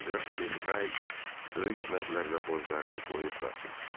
Qraf de Tray böyük məbləğdə borclarını qoyub qaçıb.